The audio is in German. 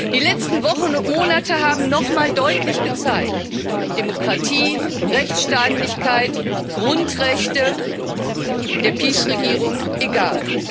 Die letzten Wochen und Monate haben nochmal deutlich gezeigt Demokratie, Rechtsstaatlichkeit, Grundrechte sind der PiS Regierung egal.